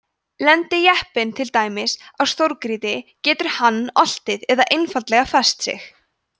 lendi jeppinn til dæmis á stórgrýti getur hann oltið eða einfaldlega fest sig